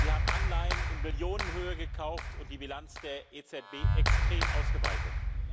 Sie haben Anleihen in Milliardenhöhe gekauft und die Bilanz der EZB extrem ausgeweitet.